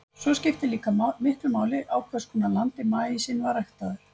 Svo skiptir líka miklu máli á hvers konar landi maísinn var ræktaður.